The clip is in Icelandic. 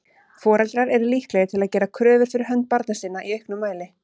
Foreldrar eru líklegir til að gera kröfur fyrir hönd barna sinna í auknum mæli.